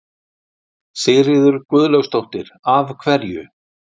Sigríður Guðlaugsdóttir: Af hverju?